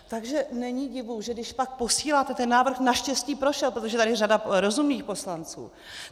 Takže není divu, že když pak posíláte - ten návrh naštěstí prošel, protože je tady řada rozumných poslanců.